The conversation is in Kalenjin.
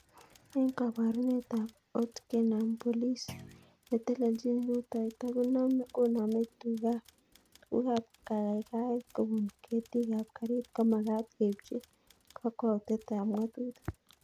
Eng koborunet ko otkenam polis netellechin rutoito konomei tugukab kaikaikaet kobun ketikab garit komagat keibchi kakwautietab ngatutik